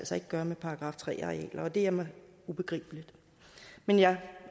så ikke gøre med § tre arealer og det er mig ubegribeligt men jeg